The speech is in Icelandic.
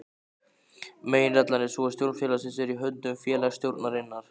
Meginreglan er sú að stjórn félagsins er í höndum félagsstjórnarinnar.